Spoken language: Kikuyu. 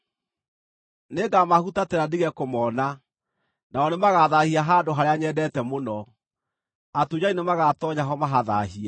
Nĩngamahutatĩra ndige kũmona, nao nĩmagathaahia handũ harĩa nyendete mũno; atunyani nĩmagatoonya ho mahathaahie.